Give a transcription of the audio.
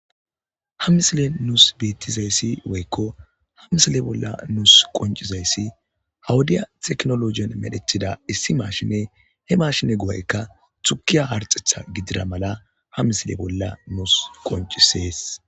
Ha misile nus betizaysi woyko ha misile bola nus qonc'izayasi ha wodiya tekinolojen medhetida issi mashine he mashine go'ayka tukiya harxetha gidira mala ha misile bola nus qonc'ises.